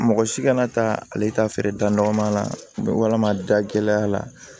Mɔgɔ si kana taa ale ta feere dannɔgɔ ma walama da gɛlɛya la